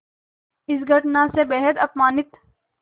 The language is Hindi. इस घटना से बेहद अपमानित